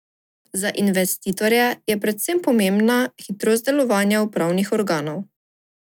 Za investitorje je predvsem pomembna hitrost delovanja upravnih organov.